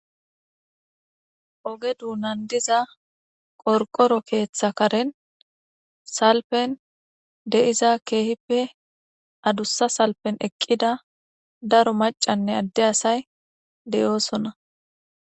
oge duunan diza qorqoro keeththa karen salpen de7iza keehippe adussa salpen eqqida daro macanne adde asay deyoosona